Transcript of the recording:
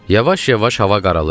Yavaş-yavaş hava qaralırdı.